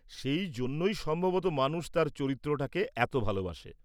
সেই জন্যই সম্ভবত মানুষ তার চরিত্রটাকে এত ভালবাসে।